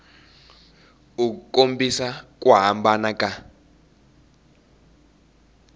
u kombisa ku hambana ka